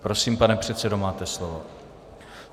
Prosím, pane předsedo, máte slovo.